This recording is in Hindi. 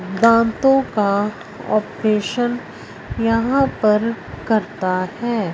दांतों का ऑपरेशन यहां पर करता हैं।